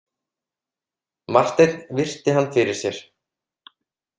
Marteinn virti hann fyrir sér.